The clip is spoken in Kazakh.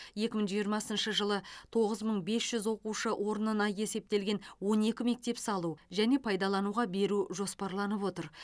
екі мың жиырмасыншы жылы тоғыз мың бес жүз оқушы орнына есептелген он екі мектеп салу және пайдалануға беру жоспарланып отыр